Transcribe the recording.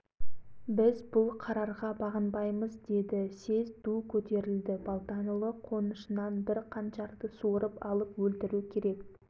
жап ауыздарыңды алаштың шырқын бұзатын бұзықтардеді ең алдыңғы қатарда отырған әлгі жаншаның сөзіне жылаған екі студент балтанұлы мен